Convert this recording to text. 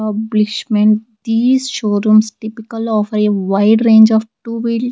Publishment these showrooms typical of a wide range of two wheel.